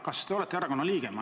Kas te olete erakonna liige?